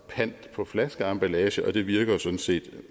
pant på flaskeemballage og det virker jo sådan set